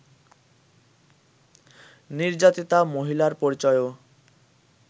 নির্যাতিতা মহিলার পরিচয়ও